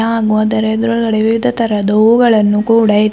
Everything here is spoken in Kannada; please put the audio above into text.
ನಾಂಗು ಅದರ ಎದ್ರುಗಡೆ ವಿವಿಧ ತರಹದ ಹೂಗಳನ್ನು ಕೂಡ ಇ--